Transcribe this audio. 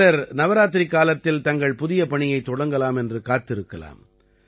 சிலர் நவராத்திரிக்காலத்தில் தங்கள் புதிய பணியைத் தொடங்கலாம் என்று காத்திருக்கலாம்